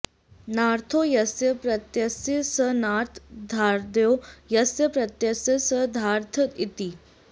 नाऽर्थो यस्य प्रत्ययस्य स नार्थः धाऽर्थो यस्य प्रत्ययस्य स धार्थ इति